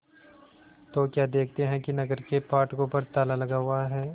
तो क्या देखते हैं कि नगर के फाटकों पर ताला लगा हुआ है